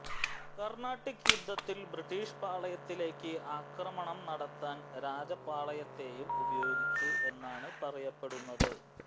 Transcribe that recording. കർണ്ണാട്ടിക് യുദ്ധത്തിൽ ബ്രിട്ടീഷ് പാളയത്തിലേക്ക് ആക്രമണം നടത്താൻ രാജപാളയത്തേയും ഉപയോഗിച്ചു എന്നാണ് പറയപ്പെടുന്നത്